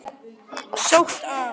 Sótt af